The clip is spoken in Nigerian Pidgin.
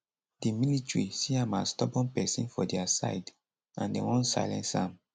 di military see am as stubborn pesin for dia side and dem wan silence am